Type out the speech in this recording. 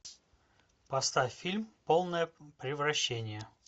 поставь фильм полное превращение